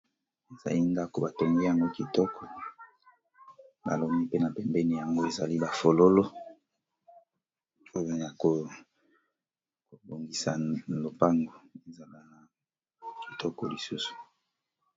Ezali ndako batongi yango kitoko baloni pe na pembeni nango ezali ba fololo pona kobongisa lopango ezala na kitoko lisusu.